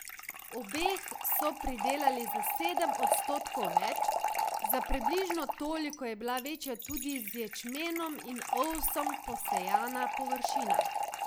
Obeh so pridelali za sedem odstotkov več, za približno toliko je bila večja tudi z ječmenom in ovsom posejana površina.